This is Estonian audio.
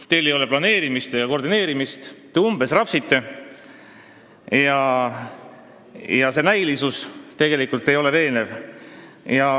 Teil ei ole planeerimist ega koordineerimist, te umbes rapsite ja see kõik ei ole tegelikult veenev.